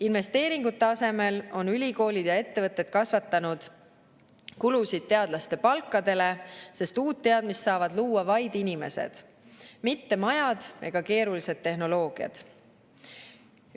Investeeringute asemel on ülikoolid ja ettevõtted kasvatanud kulusid teadlaste palkadele, sest uut teadmist saavad luua vaid inimesed, mitte majad ega keerulised tehnoloogiad.